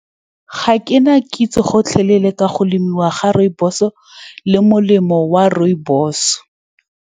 Ga ke na kitso gotlhelele ka go lemiwa ga rooibos-o, le molemo wa rooibos-e.